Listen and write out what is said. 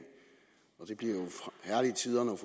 og det bliver jo herlige tider når